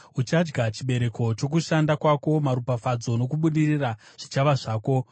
Uchadya chibereko chokushanda kwako; maropafadzo nokubudirira zvichava zvako.